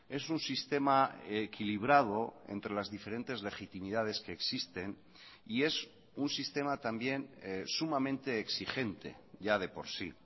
es un sistema equilibrado entre las diferentes legitimidades que existen y es un sistema también sumamente exigente ya de por sí